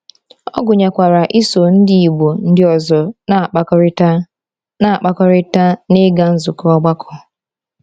Ọ gụnyekwara iso ndị Igbo ndị ọzọ na-akpakọrịta na-akpakọrịta na ịga nzukọ ọgbakọ.